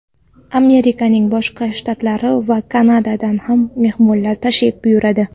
Amerikaning boshqa shtatlari va Kanadadan ham mehmonlar tashrif buyuradi.